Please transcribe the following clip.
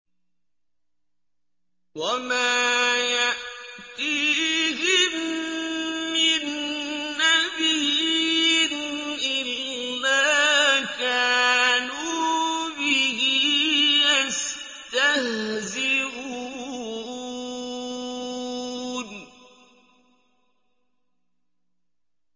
وَمَا يَأْتِيهِم مِّن نَّبِيٍّ إِلَّا كَانُوا بِهِ يَسْتَهْزِئُونَ